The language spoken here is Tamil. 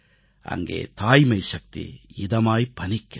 அங்கே தாய்மை சக்தி இதமாய் பனிக்கிறது